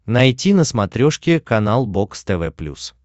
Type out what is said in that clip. найти на смотрешке канал бокс тв плюс